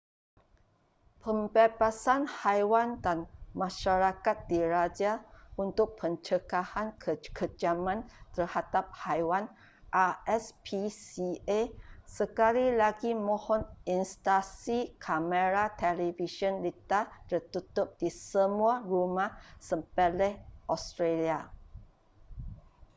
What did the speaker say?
pembebasan haiwan dan masyarakat diraja untuk pencegahan kekejaman terhadap haiwan rspca sekali lagi mohon instalsi kamera television litar tertutup di semua rumah sembelih australia